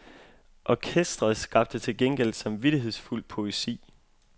Orkestret skabte til gengæld samvittighedsfuld poesi.